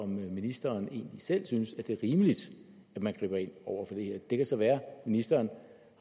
ministeren egentlig selv synes at det er rimeligt at man griber ind over for det her det kan så være at ministeren